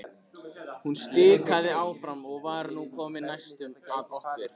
Hún stikaði áfram og var nú komin næstum að okkur.